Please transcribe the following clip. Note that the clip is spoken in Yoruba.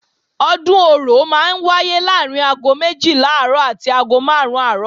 Ọdún Orò máa ń wáyé láàrín aago méjìlá àárọ̀ àti aago máàrún àárọ̀